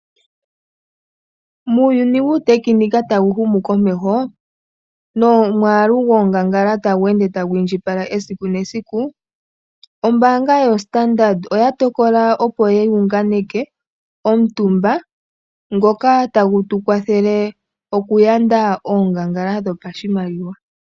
Muuyuni wuutekenika ta wu humu komeho, nomwaalu gwoongangala ta ende ta gu indjipala, esiku nesiku, ombaanga yo standard oya tokola opo yi unganeke, omutumba ngoka ta gu tu kwathele oku uanda oonganfala dhopa shimaliwa.